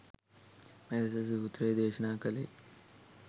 මෙලෙස සූත්‍රය දේශනා කළේ